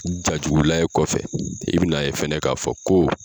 Jajugu lajɛ kɔfɛ i bɛ n'a ye fɛnɛ ka fɔ ko